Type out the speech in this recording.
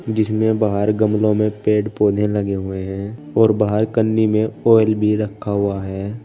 जिसमें में बाहर गमलों में पेड़ पौधे लगे हुए हैं और बाहर कन्नी में ऑयल रखा हुआ है।